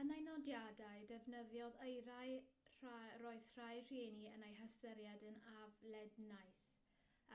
yn ei nodiadau defnyddiodd eiriau roedd rhai rhieni yn eu hystyried yn aflednais